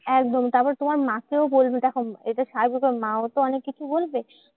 একদম তারপর তোমার মাকেও বলবে। দেখো এটা স্বাভাবিক ব্যাপার মাও তো অনেককিছু বলবে।